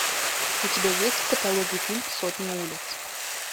у тебя есть в каталоге фильм сотни улиц